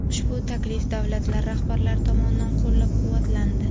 Ushbu taklif davlatlar rahbarlari tomonidan qo‘llab-quvvatlandi.